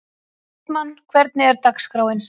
Austmann, hvernig er dagskráin?